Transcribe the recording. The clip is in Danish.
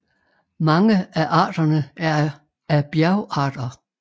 Mange af arterne er af bjergarter